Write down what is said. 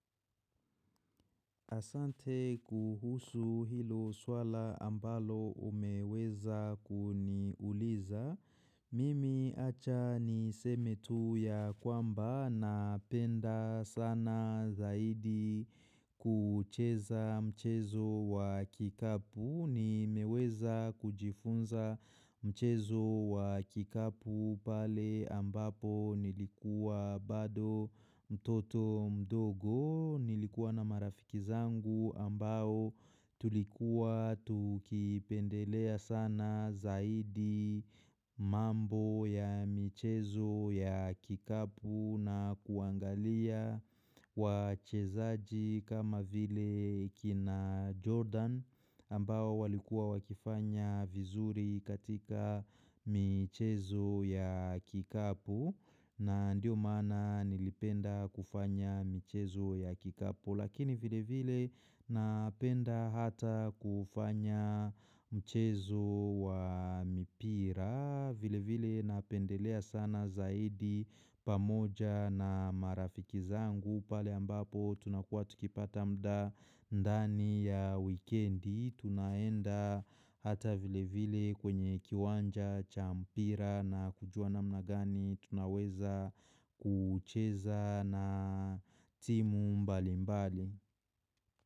Asante kuhusu hilo swala ambalo umeweza kuniuliza. Mimi acha niseme tu ya kwamba napenda sana zaidi kucheza mchezo wa kikapu. Nimeweza kujifunza mchezo wa kikapu pale ambapo nilikuwa bado mtoto mdogo Nilikuwa na marafiki zangu ambao tulikuwa tukipendelea sana zaidi mambo ya mchezo ya kikapu na kuangalia wachezaji kama vile kina Jordan ambao walikua wakifanya vizuri katika michezo ya kikapu na ndio maana nilipenda kufanya michezo ya kikapu Lakini vile vile napenda hata kufanya mchezo wa mipira vile vile napendelea sana zaidi pamoja na marafiki zangu pale ambapo tunakuwa tukipata mda ndani ya wikendi Tunaenda hata vile vile kwenye kiwanja, cha mpira na kujua namna gani tunaweza kucheza na timu mbali mbali.